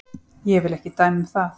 Ég vil ekki dæma um það.